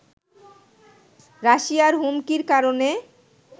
রাশিয়ার হুমকির কারণে